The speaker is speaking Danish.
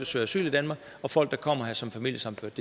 søger asyl i danmark og folk der kommer her som familiesammenførte